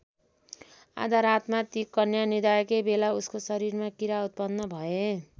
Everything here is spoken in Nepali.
आधा रातमा ती कन्या निदाएकै बेला उसको शरीरमा किरा उत्पन्न भए।